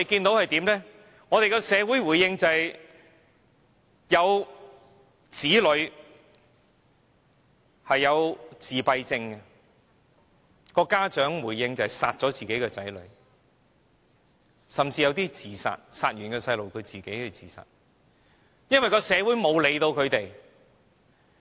所以，我們看到有子女患有自閉症的家長殺掉自己的子女，甚至殺掉自己的子女後自殺的個案，因為社會沒有理會他們。